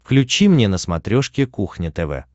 включи мне на смотрешке кухня тв